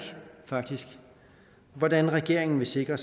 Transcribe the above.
hvordan regeringen vil sikre